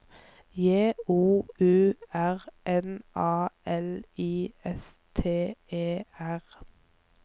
J O U R N A L I S T E R